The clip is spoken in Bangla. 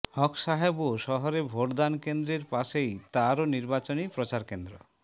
হক সাহেবও শহরে ভোটদান কেন্দ্রের পাশেই তারও নির্বাচনী প্রচার কেন্দ্র